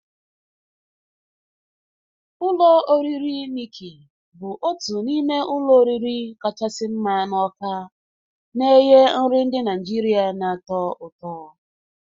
Ụlọ oriri Nikki bụ otu n'ime ụlọ oriri kachasị mma na Awka na-enye nri ndị Naijiria na-atọ ụtọ.